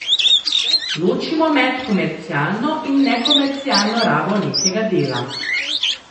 Ločimo med komercialno in nekomercialno rabo nekega dela.